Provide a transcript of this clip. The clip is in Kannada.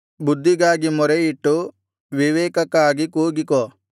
ಬುದ್ಧಿಗಾಗಿ ಮೊರೆಯಿಟ್ಟು ವಿವೇಕಕ್ಕಾಗಿ ಕೂಗಿಕೋ